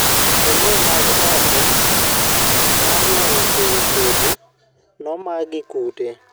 neneo mag okoo mar neno e wii kodhi momak gi kute.